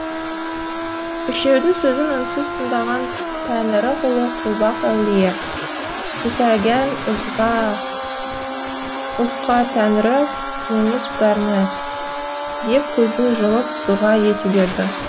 үшеудің сөзін үнсіз тыңдаған тәңірі құлы құлбақ әулие сусәгән узқа тәңрі мунуз бермәс деп көзін жұмып дұға ете берді